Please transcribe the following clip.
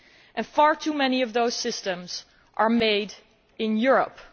And far too many of those systems are made in Europe.